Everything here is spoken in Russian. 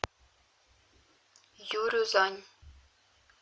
юрюзань